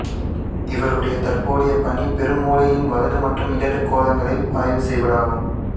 இவருடைய தற்போதைய பணி பெருமூளையின் வலது மற்றும் இடது கோளங்களை ஆய்வு செய்வதாகும்